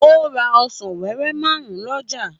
Ó ra ọsàn wẹ́wẹ́ márùn-ún lọ́jà.